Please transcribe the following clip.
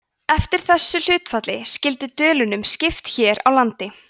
eftir þessu hlutfalli skyldi dölunum skipt hér á landi